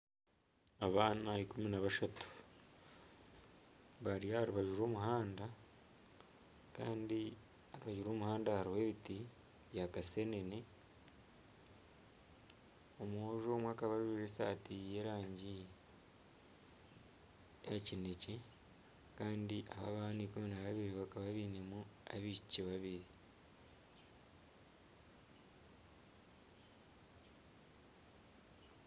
Abaana ikumi nabashatu bari aha rubaju rw'omuhanda kandi aha rubaju rw'omuhanda hariho ebiti bya kasenene omwojo omwe akaba ajwaire esaati y'erangi ya kinekye kandi abaana ikumi na bashatu bakaba bainemu abaishiki babiri.